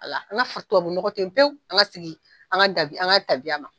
Wala, an ka tubabunɔgɔ to yen pewu , an ka segin an ka tabi an ka tabiya ma